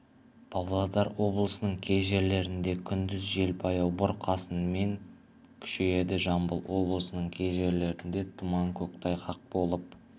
павлодар облысының кей жерлерінде күндіз жел жаяу бұрқасынмен күшейеді жамбыл облысының кей жерлерінде тұман көктайғақ болып